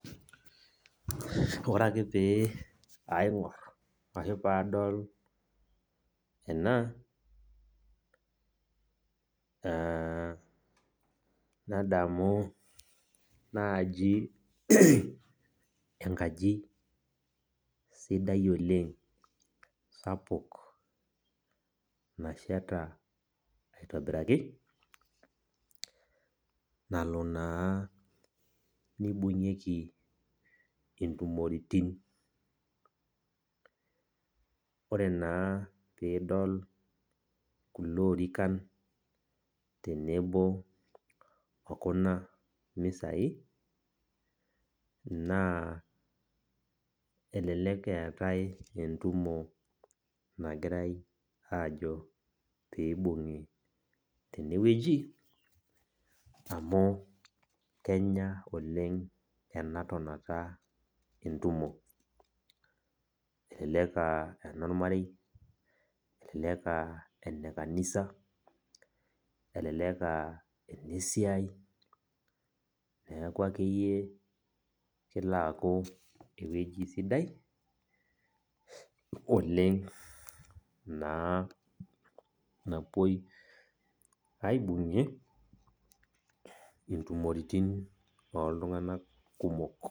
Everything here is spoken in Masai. Ore ake pee aingor ashu padol ena aa nadamu naji enkaji sidai oleng sapuk nasheta aitobiraki nalo naa nibungieki intumoritin .Ore naa pidol kulo orikan okuna misai naa elelek eetae entumo naji pibungi tenewueji amu kenya enatonata oleng entumo, elelek aa enormarei , elelek aa enekanisa , elelek aa enesiai , niaku akeyie kelo aaku ewueji sidai oleng naa napuoi aibungie ntumoritin oltunganak kumok.